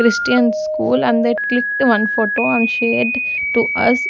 Christian school and they clicked one photo and shared to us.